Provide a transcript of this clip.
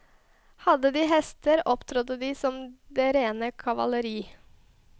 Hadde de hester, opptrådte de som det rene kavaleri.